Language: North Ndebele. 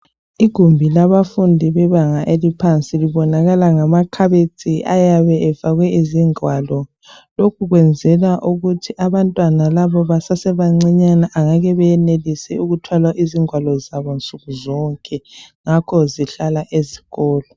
Igumbi labafundi bebanga eliphansi libonakala ngama khabethi ayabe efakwe izingwalo lokhe kwenzelwa ukuthi abantwana laba basesebancane abangeke benelise ukuthwala ingwalo zabo nsuku zonke ngakho zihlala ezikolo.